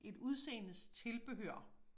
Et udseendes tilbehør